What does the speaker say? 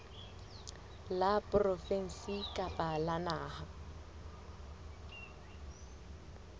la provinse kapa la naha